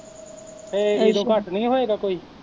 ਤੇ ਇਹਦੂ ਘੱਟ ਨੀ ਹੋਏਗਾ ਕੋਈ